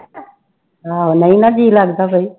ਆਹੋ ਨਹੀਂ ਨਾ ਜੀਅ ਲੱਗਦਾ ਫਿਰ